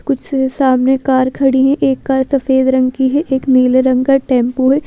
कुछ से सामने कार खड़ी हैं एक कार सफेद रंग की है एक नीले रंग का टेंपो है।